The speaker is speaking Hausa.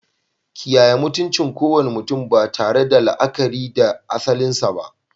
Kiyaye mutuncin kowane mutum ba tare da la'akari da asalinsa ba.